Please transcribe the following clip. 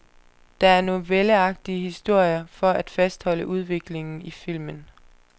Der er novelleagtige historier for at fastholde udviklingen i filmen.